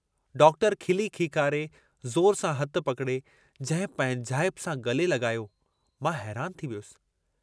Doctor खिली खीकारे ज़ोर सां हथु पकिड़े, जंहिं पंहिंजाइप सां गले लगायो, मां हैरान थी वियुसि।